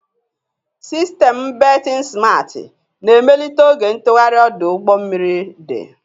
Sistemụ bertin simarti na-emelite oge ntụgharị ọdụ ụgbọ mmiri dị.